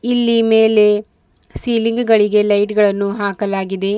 ಇಲ್ಲಿ ಮೇಲೇ ಸೀಲಿಂಗ್ ಗಳಿಗೆ ಲೈಟ್ ಗಳನ್ನು ಹಾಕಲಾಗಿದೆ.